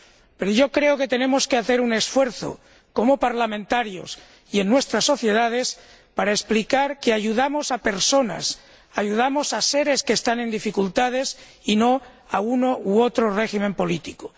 Pero yo creo que tenemos que hacer un esfuerzo como parlamentarios y en nuestras sociedades para explicar que ayudamos a personas, ayudamos a seres que están en dificultades, y no a uno u otro régimen político.